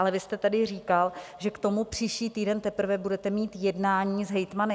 Ale vy jste tady říkal, že k tomu příští týden teprve budete mít jednání s hejtmany.